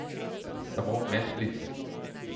Samo medklic.